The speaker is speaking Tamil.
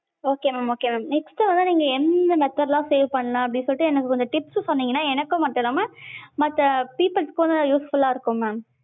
okay mam okay mam next வந்து நீங்க எந்தெந்த method ல லாம் save பண்லாம் அப்படின்னு சொல்லிட்டு எனக்கு tips சொன்னிங்கனா எனக்கு மட்டுமல்லாமல் மத்த peoples க்கும் useful லா இருக்கும் mam.